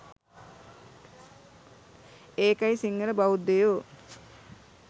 ඒකයි සිංහල බෞද්ධයෝ